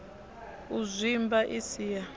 u zwimba i si ya